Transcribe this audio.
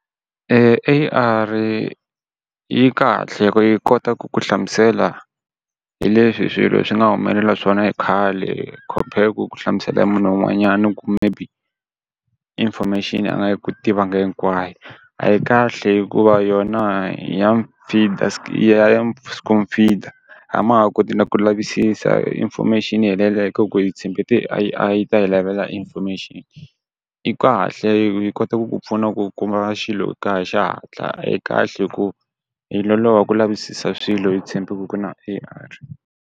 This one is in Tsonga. A_R yi kahle hi ku yi kota ku ku hlamusela hi leswi hi swilo swi nga humelela swona hi khale compare ku ku hlamusela hi munhu wun'wanyana ni ku maybe information a nga yi ku tivanga hinkwayo, a yi kahle hikuva yona a ma ha koti na ku lavisisa information yi helelela hi ka ku yi tshemba A_I yi ta hi lavela information. Yi kahle yi kota ku ku pfuna ku kuma xilo kaya hi xihatla, a yi kahle hi ku hi loloha ku lavisisa swilo hi tshembe ku ku na A_I.